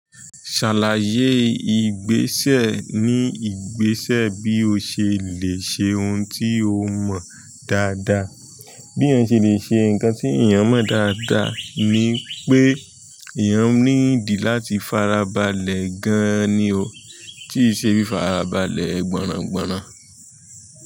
Ṣàlàyé ìgbésẹ̀ ní ìgbésẹ̀ bí o ṣe lẹ́ ṣe ohun tí o mọ dáadáa. Bí èèyàn ṣe lè ṣe nǹkan tí èèyàn mọ dáadáa ni pé, èèyàn ní dí láti farabalẹ̀ gan-an ni o, tí ì ṣe bí i farabalẹ̀ gbọ́ràngbọ̀ràn.